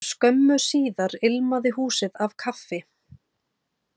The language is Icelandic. Skömmu síðar ilmaði húsið af kaffi.